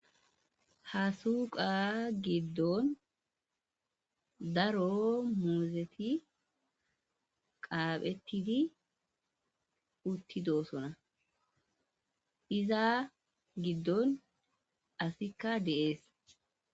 Ha suuqa giddon daro muuzeti qaaphettiti utti doosona iza giddon asikka deees.